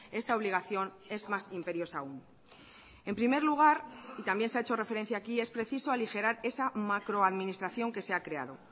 esta obligación es más imperiosa aún en primer lugar y también se ha hecho referencia aquí es preciso aligerar esa macroadministración que se ha creado